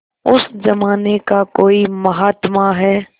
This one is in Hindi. उस जमाने का कोई महात्मा है